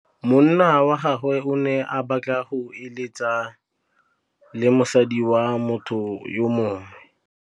Monna wa gagwe o ne a batla go êlêtsa le mosadi wa motho yo mongwe.